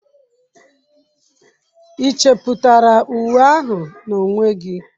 Ị chepụtara uwe ahụ n'onwe gị?